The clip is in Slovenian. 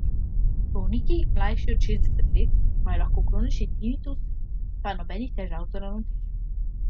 Bolniki, mlajši od šestdeset let, imajo lahko kronični tinitus, pa nobenih težav z ravnotežjem.